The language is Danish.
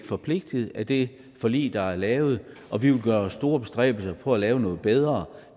forpligtet af det forlig der er lavet og vi vil gøre os store bestræbelser på at lave noget bedre